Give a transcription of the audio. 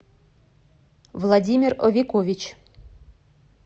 владимир овекович